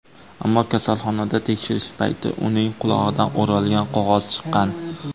Ammo kasalxonada tekshirish payti uning qulog‘idan o‘ralgan qog‘oz chiqqan.